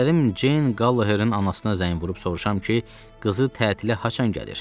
İstədim Jeyn Qalloherin anasına zəng vurub soruşam ki, qızı tətilə haçan gəlir?